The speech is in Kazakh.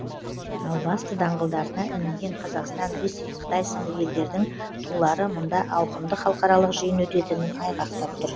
ал басты даңғылдарына ілінген қазақстан ресей қытай сынды елдердің тулары мұнда ауқымды халықаралық жиын өтетінін айғақтап тұр